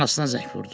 Anasına zəng vurdu.